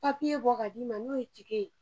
Papiye bɔ ka d'i ma n'o ye tike ye